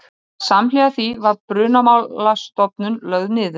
Samhliða því var Brunamálastofnun lögð niður